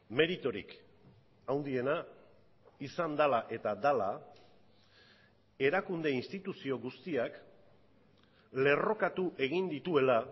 meriturik handiena izan dela eta dela erakunde instituzio guztiak lerrokatu egin dituela